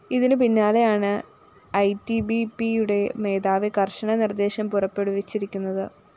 ഇതിനു പിന്നാലെയാണ് ഐടിബിപിയുടെ മേധാവി കര്‍ശന നിര്‍ദ്ദേശം പുറപ്പെടുവിച്ചിരിക്കുന്നത്